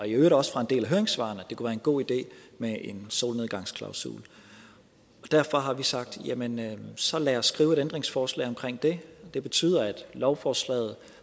i øvrigt også fra en del af høringssvarene at det kunne være en god idé med en solnedgangsklausul derfor har vi sagt at jamen så lad os skrive et ændringsforslag omkring det det betyder at lovforslaget